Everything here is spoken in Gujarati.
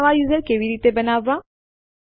ચાલો જોઈએ કે કેવી રીતે આદેશ વાપરવામાં આવે છે